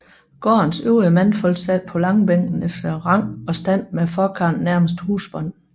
Gårdens øvrige mandfolk sad på langbænken efter rang og stand med forkarlen nærmest husbonden